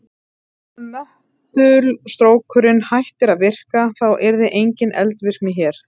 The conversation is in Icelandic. Ef möttulstrókurinn hættir að virka þá yrði engin eldvirkni hér.